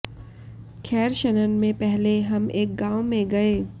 खैर शनन में पहले हम एक गाँव में गए